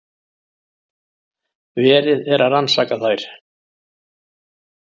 Verið er að rannsaka þær